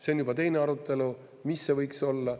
See on juba teine arutelu, mis see võiks olla.